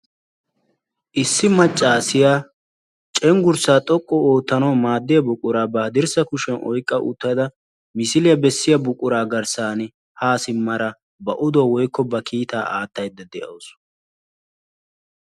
Issi maccaasiya cenggurssaa xoqqu oottanawu maaddiya buquraa ba haddirssa kushiyan oyqqa uttada misiliya bessiya buquraa garssan haa simmada ba oduwa woykko ba kiitaa aattaydda de'awus.